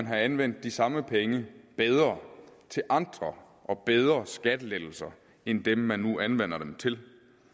have anvendt de samme penge bedre til andre og bedre skattelettelser end dem man nu anvender dem til